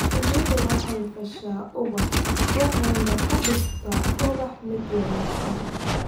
Shinnidu waxay fasha ubaxa waxayna ka dhigtaa ubaxa mid wanaagsan.